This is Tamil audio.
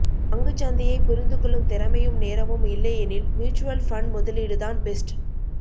பங்குச் சந்தையைப் புரிந்துகொள்ளும் திறமையும் நேரமும் இல்லையெனில் மியூச்சுவல் ஃபண்ட் முதலீடுதான் பெஸ்ட்